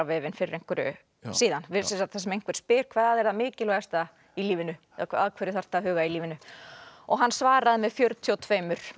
vefinn fyrir einhverju þar sem einhver spyr hvað er það mikilvægasta í lífinu að hverju þarftu að huga í lífinu og hann svaraði með fjörutíu og tveimur